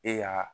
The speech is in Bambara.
E y'a